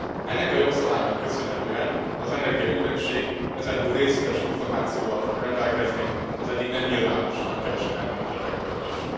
Ennek a jogszabálynak köszönhetően az energiaügynökség ezentúl részletes információval fog rendelkezni az eddig nem nyilvános nagykereskedelmi ügyletekről is.